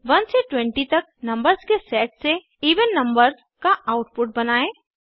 1 से 20 तक नंबर्स के सेट से इवन नंबर्स का आउटपुट बनायें